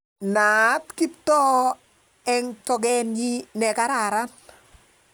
Naat Kiptoo eng toketnyi ne kararn